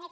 en